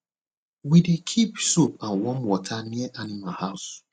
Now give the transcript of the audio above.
we dey keep soap and warm water near animal house